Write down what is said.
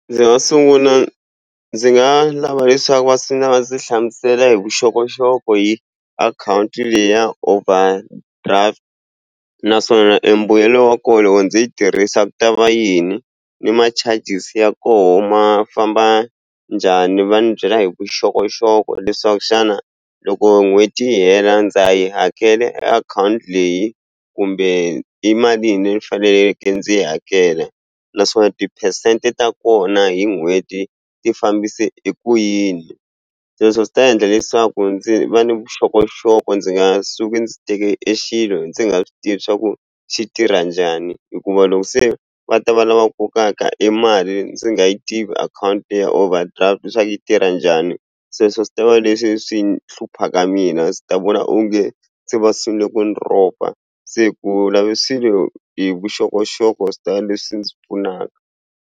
Ndzi nga sunguna ndzi nga lava leswaku va ndzi hlamusela hi vuxokoxoko hi akhawunti leya overdraft naswona embuyelo wa ko loko ndzi yi tirhisa ku ta va yini ni ma charges ya koho ma famba njhani va ni byela hi vuxokoxoko leswaku xana loko n'hweti yi hela ndza yi hakela e akhawunti leyi kumbe i malini ni faneleke ndzi yi hakela naswona tiphesente ta kona hi n'hweti ti fambise eku yini se sweswo swi ta endla leswaku ndzi va ni vuxokoxoko ndzi nga suki ndzi teke e xilo ndzi nga swi tivi swa ku xi tirha njhani hikuva loko se va ta va lava kokaka e mali ndzi nga yi tivi akhawunti leya overdraft swa ku yi tirha njhani sweswo swi ta va leswi swi ni hluphaka mina swi ta vona onge se va sungule ku ni ropa se ku lave swilo hi vuxokoxoko swi ta leswi ndzi pfunaka.